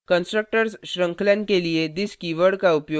constructors श्रृंखलन के लिए this कीवर्ड का उपयोग करना